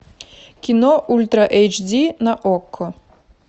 кино ультра эйч ди на окко